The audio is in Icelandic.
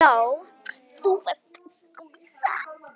Já, þú varst skvísa.